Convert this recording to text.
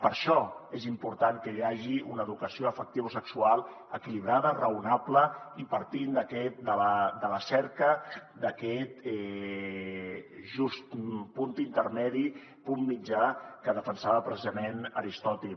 per això és important que hi hagi una educació afectivosexual equilibrada raonable i partint de la cerca d’aquest just punt intermedi punt mitjà que defensava precisament aristòtil